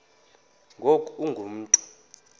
ngoku ungu mntu